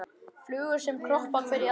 Flugur sem kroppa hver í aðra.